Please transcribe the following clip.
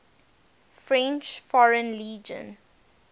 french foreign legion